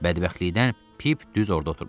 Bədbəxtlikdən Pip düz orda oturmuşdu.